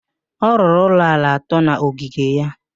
Ọ rụrụ ụlọ ala atọ n'ogige ya.